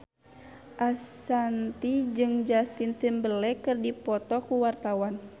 Ashanti jeung Justin Timberlake keur dipoto ku wartawan